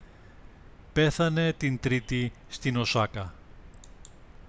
πέθανε την τρίτη στην οσάκα